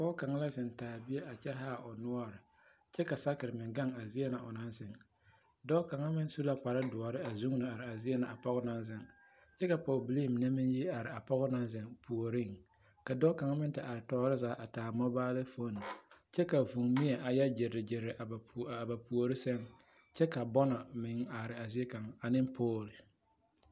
Pɔɔ kaŋ la zeŋ taa bie a kyɛ haa o noɔre kyɛ ka sakere meŋ ɡaŋ a zie na o naŋ zeŋ dɔɔ kaŋ meŋ su la kpardoɔre a are a zie na a pɔɡe naŋ zeŋ kyɛ ka pɔɡebilii mine meŋ yi are a pɔɡe na naŋ zeŋ ouoriŋ ka dɔɔ ksŋ meŋ te are tɔɔre zaa a taa moobale foone kyɛ ka vūūmie a yɛ ɡyereɡyere a ba puori sɛŋ kyɛ ka bɔnnɔ meŋ are a zie kaŋ ane pool.